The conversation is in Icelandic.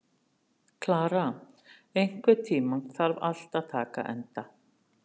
Klara, einhvern tímann þarf allt að taka enda.